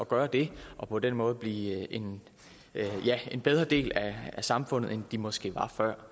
gøre det og på den måde blive en bedre del af samfundet end de måske var før